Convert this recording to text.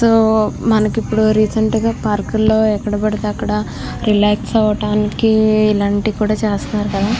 తో మనకి ఇప్పుడు రీసెంట్ గా పార్క్ ల్లో ఎక్కడ పడితే అక్కడ రిలాక్స్ అవటానికి ఇలాంటివి కూడా చేస్తున్నారు కదా --